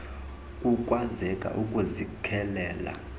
kukwazeke ukuzi kelela